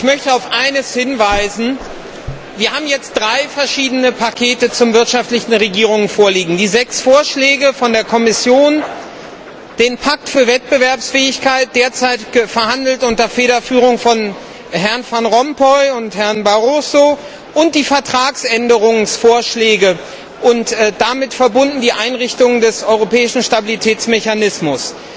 Uns liegen jetzt drei verschiedene Pakete zur wirtschaftspolitischen Steuerung vor Die sechs Vorschläge der Kommission, der Pakt für Wettbewerbsfähigkeit derzeit verhandelt unter Federführung von Herrn Van Rompuy und Herrn Barroso und die Vertragsänderungsvorschläge und damit verbunden die Einrichtung des Europäischen Stabilitätsmechanismus.